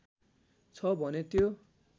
छ भने त्यो